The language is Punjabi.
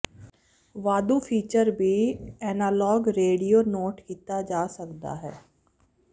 ਵਾਧੂ ਫੀਚਰ ਵੀ ਐਨਾਲਾਗ ਰੇਡੀਓ ਨੋਟ ਕੀਤਾ ਜਾ ਸਕਦਾ ਹੈ